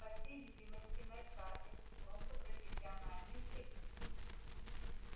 по всей видимости мэр хардин просто профессиональный циник